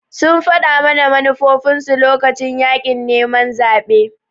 sun faɗa mana manufofinsu lokacin yaƙin neman zaɓe